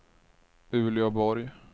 Uleåborg